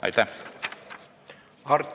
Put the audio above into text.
Aitäh!